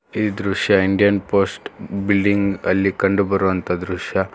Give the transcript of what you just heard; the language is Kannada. ಈ ದೃಶ್ಯ ಇಂಡಿಯನ್ ಪೋಸ್ಟ್ ಬಿಲ್ಡಿಂಗ್ ಅಲ್ಲಿ ಕಂಡು ಬರುವಂತ ದೃಶ್ಯ.